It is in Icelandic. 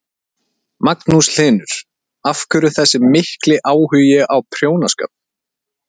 Magnús Hlynur: Af hverju þessi mikli áhugi á prjónaskap?